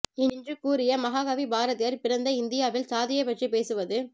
என்று கூறிய மாக கவி பாரதியார் பிறந்த இந்தியவில் சாதியைப் பற்றி பேசுவது